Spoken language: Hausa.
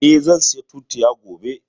Eh, zan saya tutiya gobe